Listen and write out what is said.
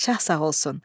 Şah sağ olsun.